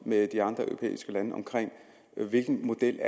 med de andre europæiske lande om hvilken model